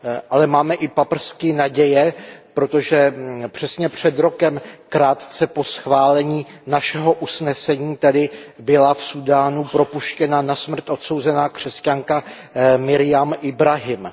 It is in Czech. Ale máme i paprsky naděje, protože přesně před rokem, krátce po schválení našeho usnesení, byla v Súdánu propuštěna na smrt odsouzená křesťanka Marjam Jahjá Ibráhímová.